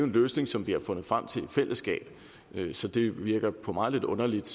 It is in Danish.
løsning som vi har fundet frem til i fællesskab så det virker på mig lidt underligt